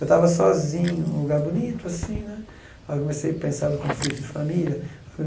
Eu estava sozinho, num lugar bonito assim né, aí comecei a pensar no conflito de família.